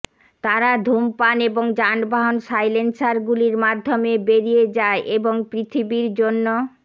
তারা ধূমপান এবং যানবাহন সাইলেন্সারগুলির মাধ্যমে বেরিয়ে যায় এবং পৃথিবীর জন্য